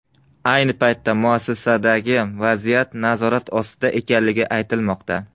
Ayni paytda muassasadagi vaziyat nazorat ostida ekanligi aytilmoqda.